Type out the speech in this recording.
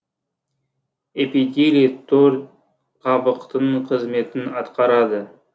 эпителий тор қабықтың қызметін атқарады